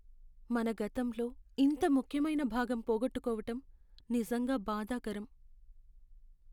మన గతంలో ఇంత ముఖ్యమైన భాగం పోగొట్టుకోవటం నిజంగా బాధాకరం.